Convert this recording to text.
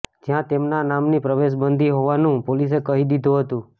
જ્યાં તેમના નામની પ્રવેશબંધિ હોવાનું પોલીસે કહી દીધું હતું